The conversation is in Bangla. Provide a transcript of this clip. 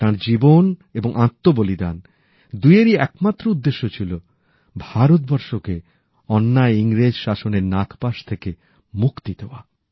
তাঁর জীবন এবং আত্মবলিদান দুইয়েরই একমাত্র উদ্দেশ্য ছিল ভারতবর্ষকে অন্যায় ইংরেজ শাসনের নাগপাশ থেকে মুক্তি দেওয়া